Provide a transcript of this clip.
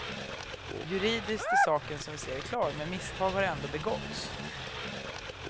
Juridiskt är saken som vi ser det klar, men misstag har ändå begåtts.